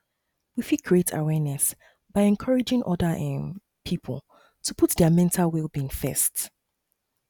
we fit create awareness by encouraging oda um pipo to put their mental wellbeing first